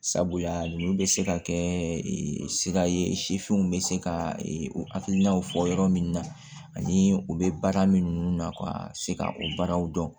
Sabula olu bɛ se ka kɛ sira ye sifinw bɛ se ka o hakilinaw fɔ yɔrɔ min na ani u bɛ baara min na ka se ka o baaraw dɔn